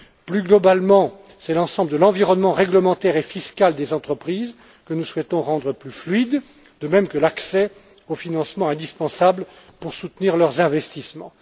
Plus globalement, c'est l'ensemble de l'environnement réglementaire et fiscal des entreprises que nous souhaitons rendre plus fluide, de même que l'accès au financement indispensable pour soutenir leurs investissements.